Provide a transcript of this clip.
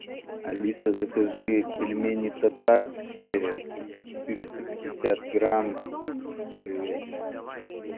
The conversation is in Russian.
алиса закажи пельмени татарские четыреста пятьдесят грамм говядина